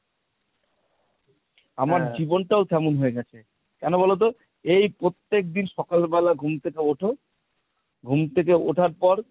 আমার জীবনটাও তেমন হয়ে গেছে, কেন বলতো? এই প্রত্যেকদিন সকালবেলা ঘুম থেকে ওঠো, ঘুম থেকে ওঠার পর